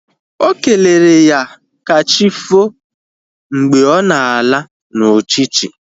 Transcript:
Okelere ya kachifo mgbe ọ na-ala na uchichi